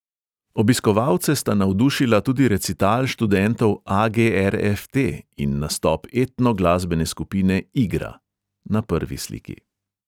Obiskovalce sta navdušila tudi recital študentov a|ge|er|ef|te in nastop etno glasbene skupine igra (na prvi sliki).